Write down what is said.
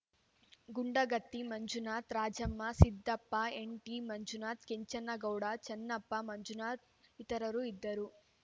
ಗುಂಡಗತ್ತಿ ಮಂಜುನಾಥ್‌ ರಾಜಮ್ಮ ಸಿದ್ದಪ್ಪ ಎನ್‌ಟಿಮಂಜುನಾಥ್‌ ಕೆಂಚನಗೌಡ ಚನ್ನಪ್ಪ ಮಂಜುನಾಥ್‌ ಇತರರು ಇದ್ದರು